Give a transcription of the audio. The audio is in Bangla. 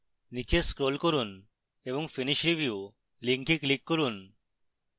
নীচে scroll করুন এবং finish review link click করুন